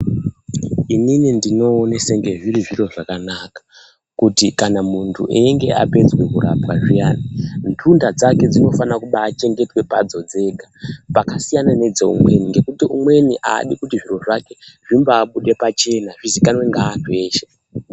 Inini ndinoona senge zviri zviro zvakanaka kuti kana muntu einge apedza kurapwa zviyana ndunda dzake dzinofane kubachengetedzwa padzo dzega pakasiyana nedzeumweni ngekuti umweni aadi kuti zviro zvake zvimbabude pachena zvizikanwe ngeantu eshe.